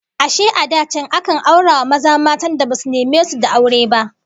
Ashe a da can akan aura wa maza matan da basu neme su da aure ba?